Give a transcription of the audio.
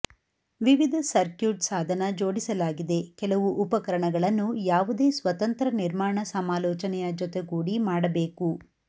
ವಿವಿಧ ಸರ್ಕ್ಯೂಟ್ ಸಾಧನ ಜೋಡಿಸಲಾಗಿದೆ ಕೆಲವು ಉಪಕರಣಗಳನ್ನು ಯಾವುದೇ ಸ್ವತಂತ್ರ ನಿರ್ಮಾಣ ಸಮಾಲೋಚನೆಯ ಜೊತೆಗೂಡಿ ಮಾಡಬೇಕು